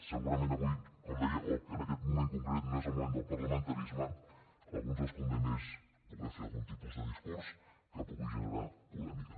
segurament avui com deia o en aquest moment concret no és el moment del parlamentarisme a alguns els convé més poder fer algun tipus de discurs que pugui generar polèmica